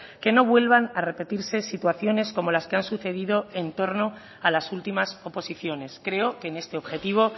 que no vuelvan a repetirse situaciones como las que han sucedido entorno a las últimas oposiciones creo que en este objetivo